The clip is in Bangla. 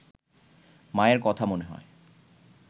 মায়ের কথা মনে হয়